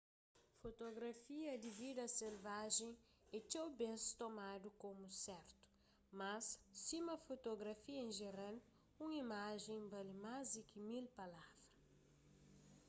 fotografia di vida selvajen é txeu bês tomadu komu sertu mas sima fotografia en jeral un imajen bali más di ki mil palavra